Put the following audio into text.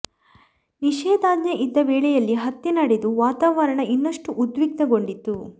ನಿಷೇಧಾಜ್ಞೆ ಇದ್ದ ವೇಳೆಯಲ್ಲೆ ಹತ್ಯೆ ನಡೆದು ವಾತಾವರಣ ಇನ್ನಷ್ಟು ಉದ್ವಿಗ್ನ ಗೊಂಡಿತ್ತು